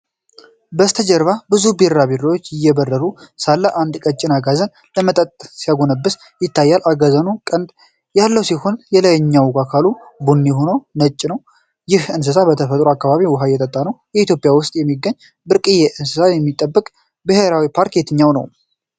ከበስተጀርባ ብዙ ቢራቢሮዎች እየበረሩ ሳሉ አንድ ቀጭን አጋዘን ለመጠጣት ሲጎነብስ ይታያል። አጋዘኑ ቀንድ ያለው ሲሆን የላይኛው አካሉ ቡኒ፣ ሆዱ ነጭ ነው። ይህ እንስሳ በተፈጥሮ አካባቢው ውሃ እየጠጣ ነው። በኢትዮጵያ ውስጥ የሚገኝና ብርቅዬ እንስሳትን የሚጠብቅ ብሔራዊ ፓርክ የትኛው ነው?